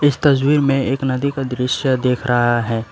तस्वीर में एक नदी का दृश्य दिख रहा है।